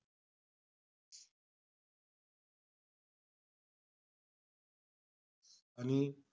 आणि,